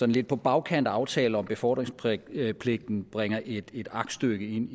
lidt på bagkant af aftaler om befordringspligten bringer et aktstykke ind